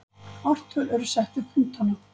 Ártöl eru sett við punktana.